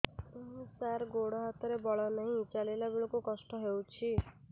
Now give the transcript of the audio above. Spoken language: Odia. ସାର ଗୋଡୋ ହାତରେ ବଳ ନାହିଁ ଚାଲିଲା ବେଳକୁ କଷ୍ଟ ହେଉଛି